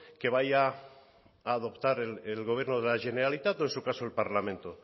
que vaya a adoptar el gobierno de la generalitat o en su caso el parlamento